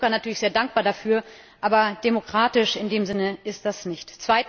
Wir sind Herrn Juncker natürlich sehr dankbar dafür, aber demokratisch in dem Sinne ist das nicht.